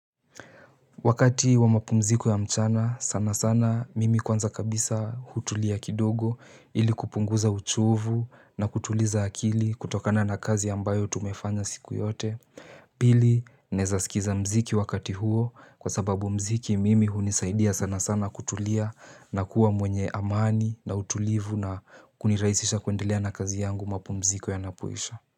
Wakati wa mapumziko ya mchana, sana sana mimi kwanza kabisa hutulia kidogo ili kupunguza uchovu na kutuliza akili kutokana na kazi ambayo tumefanya siku yote. Pili, naeza skiliza mziki wakati huo kwa sababu mziki mimi hunisaidia sana sana kutulia na kuwa mwenye amani na utulivu na kunirahisisha kuendelea na kazi yangu mapumziko yanapoisha.